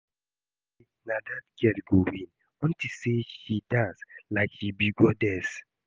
I know say na dat girl go win unto say she dance like she be goddess